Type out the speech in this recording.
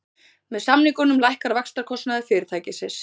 Með samningunum lækkar vaxtakostnaður fyrirtækisins